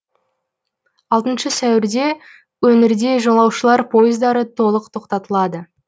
алтыншы сәуірде өңірде жолаушылар пойыздары толық тоқтатылады